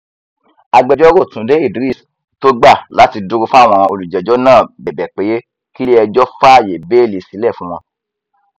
agbẹjọrò túnde idris tó gbà láti dúró fáwọn olùjẹjọ náà bẹbẹ pé kílẹẹjọ fàáyé bẹẹlí sílẹ fún wọn